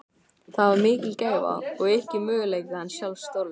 Það var mikil gæfa og yki möguleika hans sjálfs stórlega.